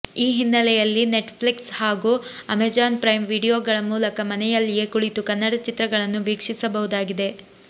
ಈ ಹಿನ್ನಲೆಯಲ್ಲಿ Netflix ಹಾಗೂ ಅಮೆಜಾನ್ ಪ್ರೈಮ್ ವಿಡಿಯೋಗಳ ಮೂಲಕ ಮನೆಯಲ್ಲಿಯೇ ಕುಳಿತು ಕನ್ನಡ ಚಿತ್ರಗಳನ್ನು ವೀಕ್ಷಿಸಬಹುದಾಗಿದೆ